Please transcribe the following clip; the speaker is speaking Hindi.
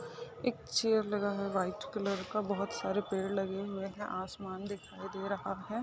एक चेयर लगा है वाइट कलर का बहुत सारे पेड़ लगे हुए है आसमान दिखाई दे रहा है। .